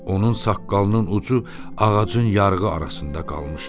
Onun saqqalının ucu ağacın yarğı arasında qalmışdı.